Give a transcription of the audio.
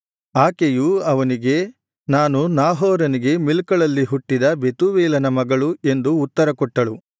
ಆಕೆಯು ಅವನಿಗೆ ನಾನು ನಾಹೋರನಿಗೆ ಮಿಲ್ಕಳಲ್ಲಿ ಹುಟ್ಟಿದ ಬೆತೂವೇಲನ ಮಗಳು ಎಂದು ಉತ್ತರಕೊಟ್ಟಳು